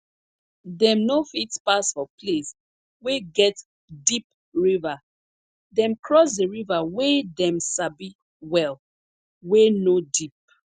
dem no fit pass for place wey get deep river dem cross the river wey dem sabi well wey no deep